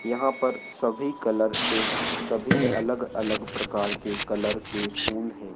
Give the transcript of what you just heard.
यहाँ पर सभी कलर के सभी अलग अलग प्रकार के कलर के फूल हैं।